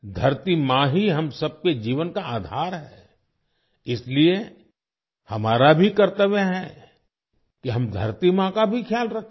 धरती माँ ही हम सबके जीवन का आधार है इसलिए हमारा भी कर्तव्य है कि हम धरती माँ का भी ख्याल रखें